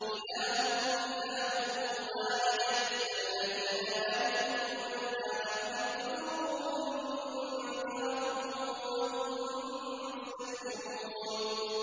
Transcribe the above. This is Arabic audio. إِلَٰهُكُمْ إِلَٰهٌ وَاحِدٌ ۚ فَالَّذِينَ لَا يُؤْمِنُونَ بِالْآخِرَةِ قُلُوبُهُم مُّنكِرَةٌ وَهُم مُّسْتَكْبِرُونَ